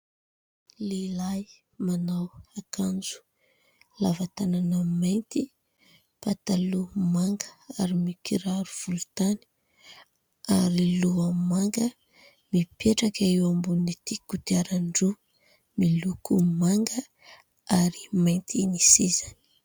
Lehilahy manao akanjo lava tanana mainty, pataloha manga ary mikiraro volontany, aroloha manga, mipetraka eo ambonin'ity kodiaran-droa miloko manga ary mainty ny sisiny.